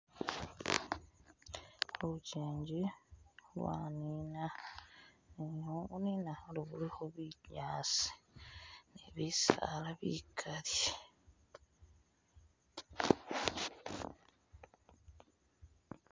Luchinji lwanina nenga lunina ilikho bunyaasi ni bisaala bikaali